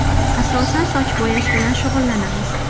Asosan soch bo‘yash bilan shug‘ullanamiz.